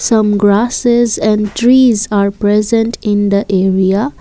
some grasses and trees are present in the area.